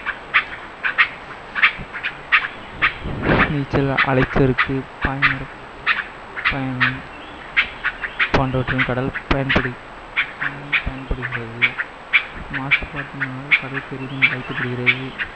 நீச்சல், அலைச்சறுக்கு, பாய்மர பயணம் போன்றவற்றின் கடல் பயன்படுகிறது. மாசுபாட்டினால் கடல் பெரிதும் பாதிக்கப்படுகிறது.